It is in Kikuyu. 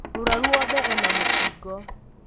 mũrwaru wothe ena mũkingo